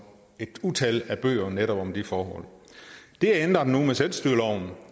et utal af bøger om netop de forhold det er ændret nu med selvstyreloven